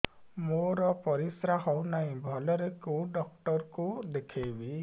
ମୋର ପରିଶ୍ରା ହଉନାହିଁ ଭଲରେ କୋଉ ଡକ୍ଟର କୁ ଦେଖେଇବି